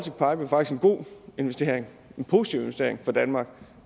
god investering en positiv investering for danmark